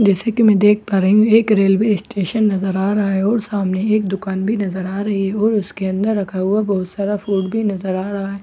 जैसे की मैं देख पा रही हूँ एक रेलवे स्टेशन नजर आ रहा है और सामने एक दुकान भी नजर आ रही है और उसके अंदर रखा हुआ बहुत सारा फ़ूड भी नजर आ रहा है उस